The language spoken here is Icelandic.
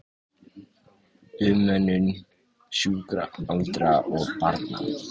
Umönnun sjúkra, aldraðra og barna.